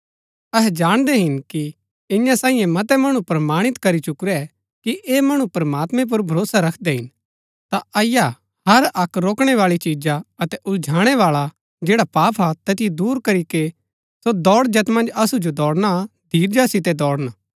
अहै जाणदै हिन कि इन्या सांईये मतै मणु प्रमाणित करी चुकुरै कि ऐह मणु प्रमात्मैं पुर भरोसा रखदै हिन ता अईआ हर अक्क रोकणै बाळी चीजा अतै उलझाणै बाळा जैड़ा पाप हा तैतिओ दूर करीके सो दौड़ जैत मन्ज असु जो दौड़ना हा धीरजा सितै दौड़न